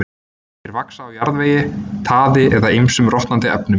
Þeir vaxa á jarðvegi, taði eða ýmsum rotnandi efnum.